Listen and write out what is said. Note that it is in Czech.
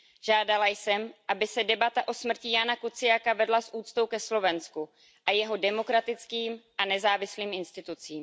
Žádala jsem, aby se debata o smrti Jána Kuciaka vedla s úctou ke Slovensku a jeho demokratickým a nezávislým institucím.